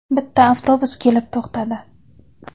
Bitta avtobus kelib to‘xtadi.